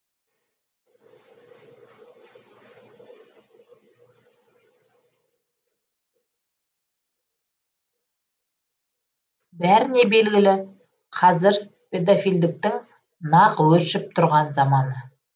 бәріне белгілі қазір педофилдіктің нақ өршіп тұрған заманы